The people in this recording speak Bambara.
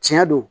Tiɲɛ don